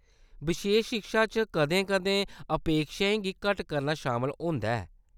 बशेश शिक्षा च कदें-कदें अपेक्षाएं गी घट्ट करना शामल होंदा ऐ।